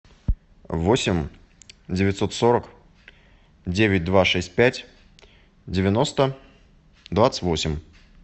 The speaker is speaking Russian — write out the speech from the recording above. восемь девятьсот сорок девять два шесть пять девяносто двадцать восемь